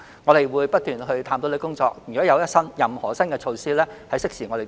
我們會不斷探討，如有任何新措施，將會適時公布。